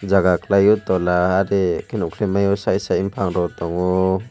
jaga khwlaio tola ari nokhelai maio side side bophang rok tongo.